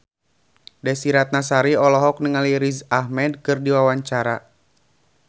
Desy Ratnasari olohok ningali Riz Ahmed keur diwawancara